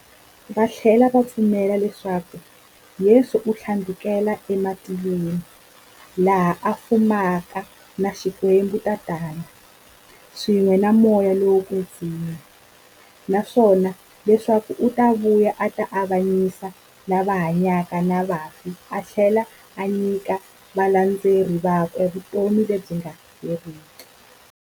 Vathlela va pfumela leswaku Yesu u thlandlukele ematilweni, laha a fumaka na Xikwembu-Tatana, swin'we na Moya lowo kwetsima, naswona leswaku u ta vuya a ta avanyisa lava hanyaka na vafi athlela a nyika valandzeri vakwe vutomi lebyi nga heriki.